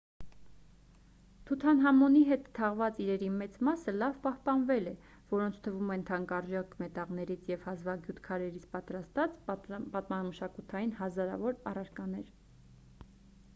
թութանհամոնի հետ թաղված իրերի մեծ մասը լավ պահպանվել է որոնց թվում են թանկարժեք մետաղներից և հազվագյուտ քարերից պատրաստված պատմամշակութային հազարավոր առարկաներ